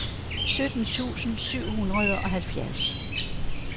sytten tusind syv hundrede og halvfjerds